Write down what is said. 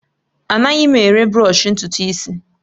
Anaghị m ere bụrọshi ntutu isi